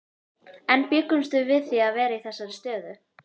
En bjuggumst við við því að vera í þessari stöðu?